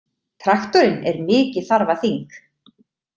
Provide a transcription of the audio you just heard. Traktorinn er mikið þarfaþing!